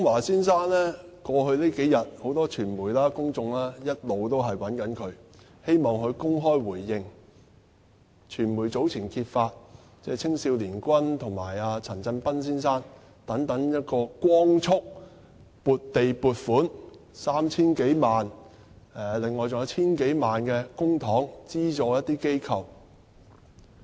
在過去數天，很多傳媒和公眾一直也在找劉江華先生，希望他公開作出回應，因為傳媒早前揭發青少年軍和陳振彬先生等人獲光速撥地和獲撥款 3,000 多萬元，另外當局還用了 1,000 多萬元公帑資助一些機構。